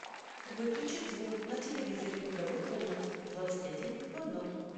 выключить звук на телевизоре в игровой комнате в двадцать один ноль ноль